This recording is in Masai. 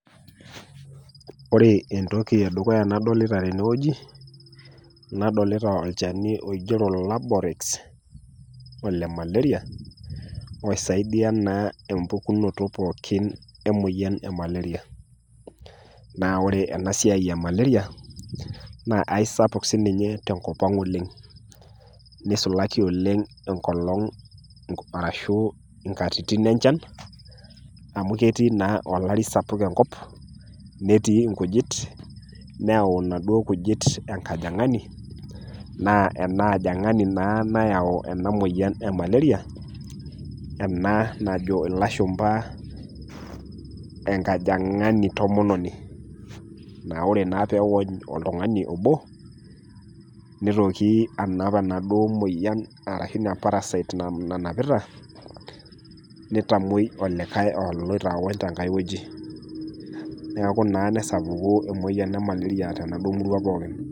Ore entoki e dukuya nadolita tene wueji, nadolita olchani oigero ajo Laborex ole malaria oisaidia naa empukunoto pooki emoyaian e malaria. Naa ore ena siasi e malaria, naa aisapuk sii ninye te nkop ang' oleng'. Neisulaki oleng' enkolong' ashu inkatitin enchan , amu ketii naa olari sapuk enkop , netii inkujit, neyau naduo kujit enkajang'ani, naa ena ajang'ani nayau naa ena muyian e malaria najo ilashumba enkajang'ani tomononi, naa ore naa pee eony oltung'ani obo, neitoki naa anap enaduo moyan arashu ina parasite nanapita, neitamwoi olikai oloito aony tenkai wueji. Neaku naa nesapuku emoyian e malaria tenaduo murua pooki.